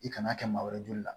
I kan'a kɛ maa wɛrɛ joli la